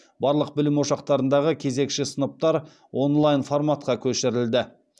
барлық білім ошақтарындағы кезекші сыныптар онлайн форматқа көшірілді